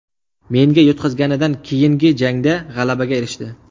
Menga yutqazganidan keyingi jangda g‘alabaga erishdi.